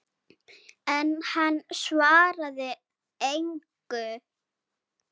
En hann svaraði engu.